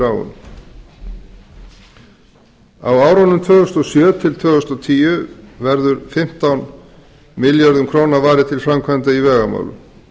um á árunum tvö þúsund og sjö til tvö þúsund og tíu verður fimmtán milljörðum króna varið til framkvæmda í vegamálum